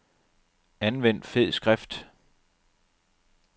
Anvend fed skrift.